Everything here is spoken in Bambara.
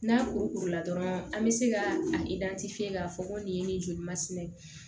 N'a kuru kuru la dɔrɔn an bɛ se ka a k'a fɔ ko nin ye nin joli masinɛ ye